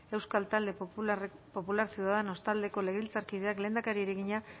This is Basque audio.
euskal talde popularra ciudadanos taldeko legebiltzarkideak lehendakariari egina